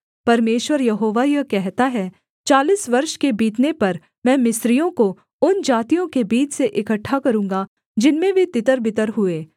परमेश्वर यहोवा यह कहता है चालीस वर्ष के बीतने पर मैं मिस्रियों को उन जातियों के बीच से इकट्ठा करूँगा जिनमें वे तितरबितर हुए